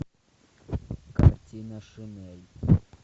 картина шинель